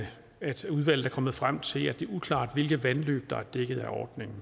at udvalget er kommet frem til at det er uklart hvilke vandløb der er dækket af ordningen